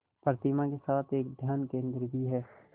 प्रतिमा के साथ ही एक ध्यान केंद्र भी है